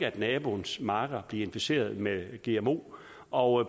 at naboens marker bliver inficeret med gmo og